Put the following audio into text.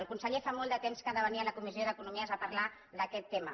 el conseller fa molt de temps que ha de venir a la co·missió d’economia a parlar d’aquest tema